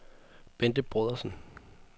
Bente Brodersen